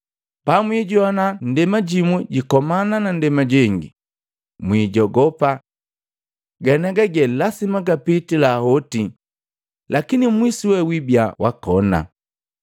Pamwijoana ndema jimu jikomana na ndema jengi, mwijogopa. Ganiaga gee lasima gapitila hoti, lakini mwisu wee wibia wakona.